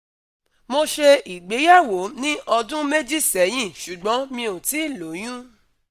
Mo ṣe ìgbéyàwó ní ọdún méjì sẹ́yìn ṣùgbọ́n mi ò tíì lóyún